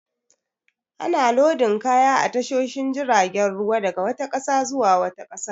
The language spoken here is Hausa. Ana lodin kaya a tashoshin jiragen ruwa daga wata ƙasa zuwa wata ƙasar.